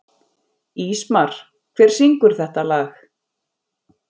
Ísmar, hver syngur þetta lag?